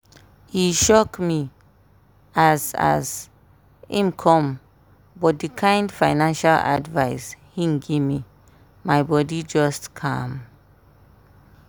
e shock me as as im come but the kind financial advice him gimme my bodi just calm.